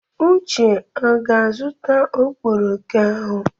Uche ọ ga-azụta ọkpọrọko ahụ?